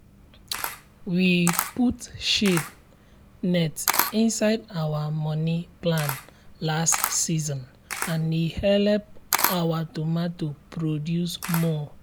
we put shade net inside our money plan last season and e help our tomato produce more.